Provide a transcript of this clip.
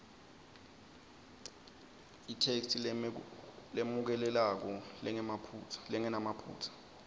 itheksthi lemukelekako lengenamaphutsa